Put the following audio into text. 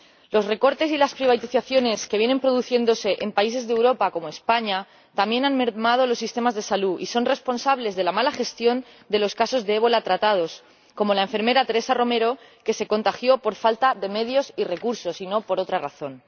Los recortes y las privatizaciones que vienen produciéndose en países de Europa, como España, también han mermado los sistemas de salud y son responsables de la mala gestión de los casos de ébola tratados, como el de la enfermera Teresa Romero, que se contagió por falta de medios y recursos, y no por otra razón.